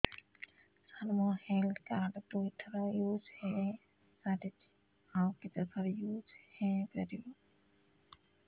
ସାର ମୋ health card ଦୁଇ ଥର ୟୁଜ଼ ହୈ ସାରିଛି ଆଉ କେତେ ଥର ୟୁଜ଼ ହୈ ପାରିବ